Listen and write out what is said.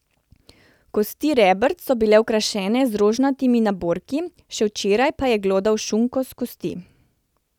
Kosti rebrc so bile okrašene z rožnatimi naborki, še včeraj pa je glodal šunko s kosti!